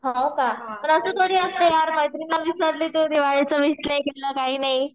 हो का? पण असं थोडी असते यार मैत्रिणीला विसरली तू दिवाळीचं विष नाही केलं काही नाही.